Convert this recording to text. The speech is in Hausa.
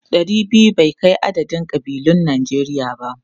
Ɗari biyu bai kai adadin kabilun Najeriya ba.